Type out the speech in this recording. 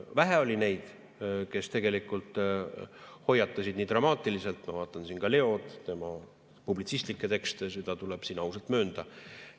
Vähe oli neid, kes tegelikult hoiatasid nii dramaatiliselt, ma vaatan siin ka Leod, tema publitsistikke tekste, seda tuleb siin ausalt möönda.